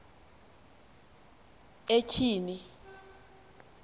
etyhini